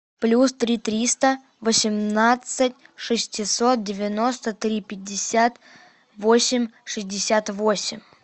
плюс три триста восемнадцать шестьсот девяносто три пятьдесят восемь шестьдесят восемь